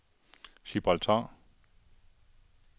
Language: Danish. Gibraltar